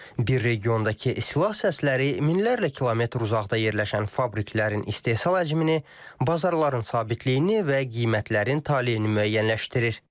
Bir regiondakı silah səsləri minlərlə kilometr uzaqda yerləşən fabriklərin istehsal həcmini, bazarların sabitliyini və qiymətlərin taleyini müəyyənləşdirir.